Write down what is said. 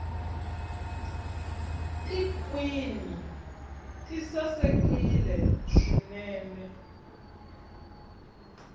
tikhwini ti sasekile swinene